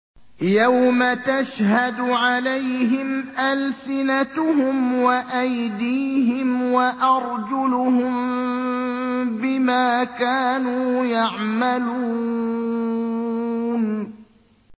يَوْمَ تَشْهَدُ عَلَيْهِمْ أَلْسِنَتُهُمْ وَأَيْدِيهِمْ وَأَرْجُلُهُم بِمَا كَانُوا يَعْمَلُونَ